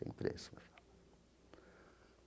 Tem preço.